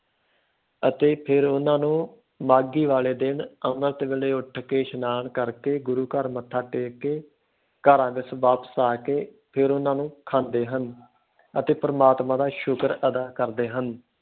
ਅਤੇ ਫਿਰ ਉਹਨਾਂ ਨੂੰ ਮਾਘੀ ਵਾਲੇ ਦਿਨ ਅੰਮ੍ਰਿਤ ਵੇਲੇ ਉੱਠ ਕੇ ਇਸ਼ਨਾਨ ਕਰਕੇ, ਗੁਰੂ ਘਰ ਮੱਥਾ ਟੇਕ ਕੇ, ਘਰਾਂ ਵਿੱਚ ਵਾਪਸ ਆ ਕੇ, ਫਿਰ ਉਹਨਾਂ ਨੂੰ ਖਾਂਦੇ ਹਨ ਅਤੇ ਪ੍ਰਮਾਤਮਾ ਦਾ ਸ਼ੁਕਰ ਅਦਾ ਕਰਦੇ ਹਨ।